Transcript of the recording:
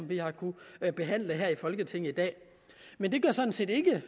vi har kunnet behandle her i folketinget i dag men det gør sådan set ikke